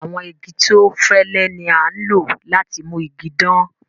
Àwọn igi tó fẹ́lẹ̀ ni a ń lọ láti mú ìgi dán.